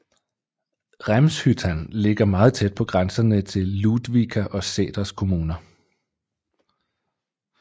Rämshyttan ligger meget tæt på grænserne til Ludvika og Säters kommuner